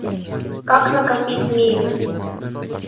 как накопить мили